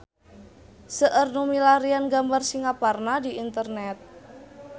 Seueur nu milarian gambar Singaparna di internet